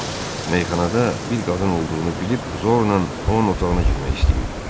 Meyxanada bir qadın olduğunu bilib zorla onun otağına girmək istəyirdilər.